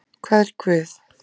hvar er Guð?